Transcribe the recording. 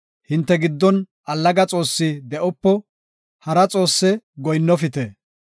Hinte giddon allaga xoossi de7opo; hara xoosse goyinnofite.